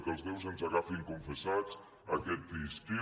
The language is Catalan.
que els déus ens agafin confessats aquest estiu